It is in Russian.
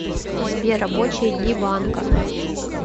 сбер рабочие дни банка